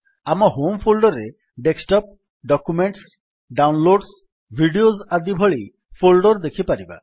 ଆମ home folder ରେ desktop documents downloads videos ଆଦି ଭଳି ଫୋଲ୍ଡର୍ ଦେଖିପାରିବା